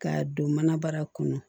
K'a don manabara kɔnɔ